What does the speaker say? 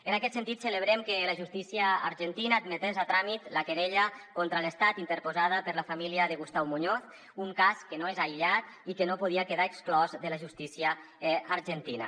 en aquest sentit celebrem que la justícia argentina admetés a tràmit la querella contra l’estat interposada per la família de gustau muñoz un cas que no és aïllat i que no podia quedar exclòs de la justícia argentina